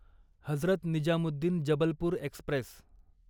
Hazrat Nizamuddin Jabalpur Express